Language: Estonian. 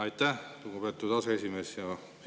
Aitäh, lugupeetud aseesimees!